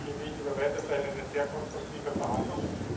Es war, finde ich, über weite Teile eine sehr konstruktive Verhandlung.